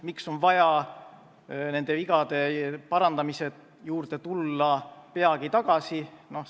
Miks on vaja nende vigade parandamise juurde peagi tagasi tulla?